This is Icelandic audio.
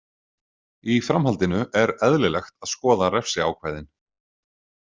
Í framhaldinu er eðlilegt að skoða refsiákvæðin.